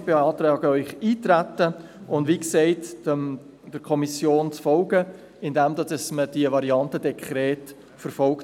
Wir beantragen Ihnen, darauf einzutreten und der Kommission, wie gesagt, zu folgen, indem man bei der Beratung des Gesetzes die Variante Dekret verfolgt.